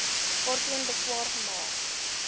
waarteen beswaar gemaak